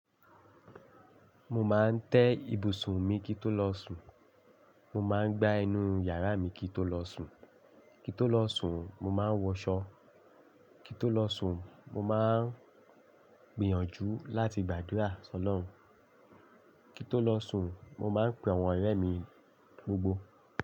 Mo máa ń tẹ́ ibùsùn mi kító lọ sùn, mo máa ń gbá inú yàrá mi kító lọ sùn, kító lọ sùn mo máa ń wọṣọ, kító lọ sùn mo máa ń gbìyànjú láti gbàdúrà sọlọ́run, kító lọ sùn mo máa ń pe àwọn ọ̀rẹ́ mi gbogbo.